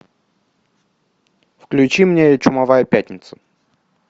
включи мне чумовая пятница